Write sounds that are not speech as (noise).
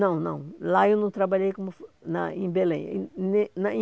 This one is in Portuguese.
Não, não, lá eu não trabalhei como, na em Belém. (unintelligible)